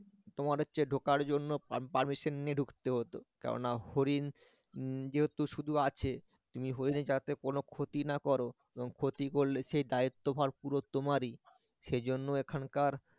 তোমার হচ্ছে ঢোকার জন্য permission নিয়ে ঢুকতে হতো কেননা হরিণ যেহেতু শুধু আছে তুমি হরিণের যাতে কোন ক্ষতি না কর এবং ক্ষতি করলে সেই দায়িত্বভার পুরো তোমার ই সেজন্য এখানকার